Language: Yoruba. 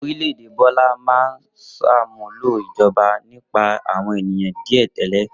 Orílẹ̀-èdè Bọ́lá máa ń ṣàmúlò ìjọba nípa àwọn ènìyàn díẹ̀ tẹ́lẹ̀.